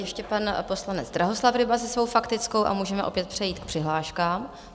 Ještě pan poslanec Drahoslav Ryba se svou faktickou a můžeme opět přejít k přihláškám.